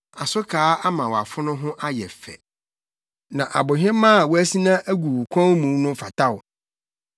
Asokaa ama wʼafono ho ayɛ fɛ, na abohemaa a woasina agu wo kɔn mu no fata wo.